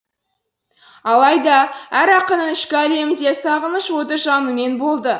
алайда әр ақынның ішкі әлемінде сағыныш оты жанумен болды